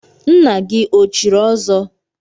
Nna gị o chiri ọzọ?